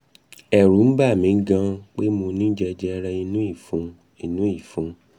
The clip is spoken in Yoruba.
ẹ̀rù n bà mi gan pé mo ní jẹjẹrẹ inú ìfun inú ìfun